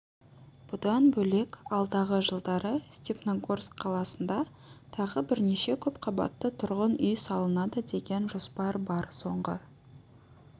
бұдан бөлек алдағы жылдары степногорск қаласында тағы бірнеше көпқабатты тұрғын үй салынады деген жоспар бар соңғы